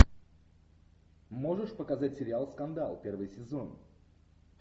можешь показать сериал скандал первый сезон